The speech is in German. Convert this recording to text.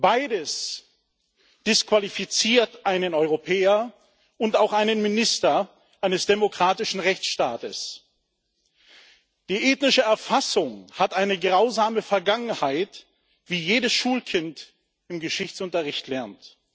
Beides disqualifiziert einen Europäer und auch einen Minister eines demokratischen Rechtsstaates. Die ethnische Erfassung hat eine grausame Vergangenheit, wie jedes Schulkind im Geschichtsunterricht lernt.